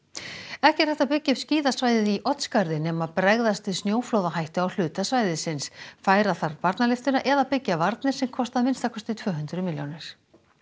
ekki er hægt að byggja upp skíðasvæðið í Oddsskarði nema bregðast við snjóflóðahættu á hluta svæðisins færa þarf barnalyftuna eða byggja varnir sem kosta að minnsta kosti tvö hundruð milljónir